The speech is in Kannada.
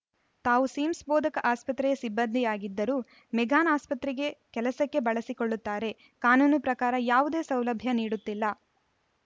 ತಾವು ಸಿಮ್ಸ್‌ ಬೋಧಕ ಆಸ್ಪತ್ರೆಯ ಸಿಬ್ಬಂದಿಯಾಗಿದ್ದರೂ ಮೆಗ್ಗಾನ್‌ ಆಸ್ಪತ್ರೆಗೆ ಕೆಲಸಕ್ಕೆ ಬಳಸಿಕೊಳ್ಳುತ್ತಾರೆ ಕಾನೂನು ಪ್ರಕಾರ ಯಾವುದೇ ಸೌಲಭ್ಯ ನೀಡುತ್ತಿಲ್ಲ